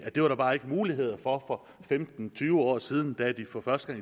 at det var der bare ikke muligheder for for femten til tyve år siden da de for første